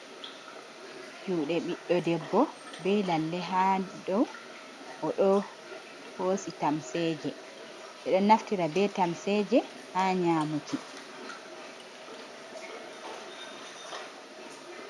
Juuɗe ɓiɗdo debbo, be lalle haa dow, o ɗo hoosi tamseje. Ɓeɗo naftira be tamseje ha nyaamuki.